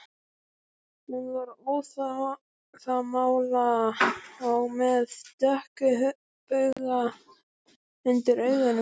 Hún var óðamála og með dökka bauga undir augunum